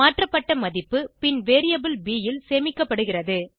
மாற்றப்பட்ட மதிப்பு பின் வேரியபிள் ப் ல் சேமிக்கப்படுகிறது